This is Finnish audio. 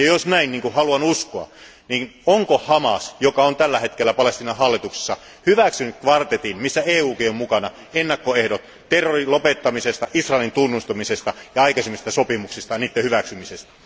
Jos asia on näin, niin kuin haluan uskoa, niin onko Hamas, joka on tällä hetkellä Palestiinan hallituksessa, hyväksynyt kvartetin, jossa EUkin on mukana, ennakkoehdot terrorin lopettamisesta, Israelin tunnustamisesta ja aikaisemmista sopimuksista ja niiden hyväksymisestä?